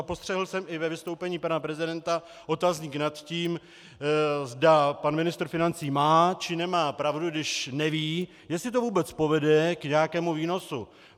A postřehl jsem i ve vystoupení pana prezidenta otazník nad tím, zda pan ministr financí má, či nemá pravdu, když neví, jestli to vůbec povede k nějakému výnosu.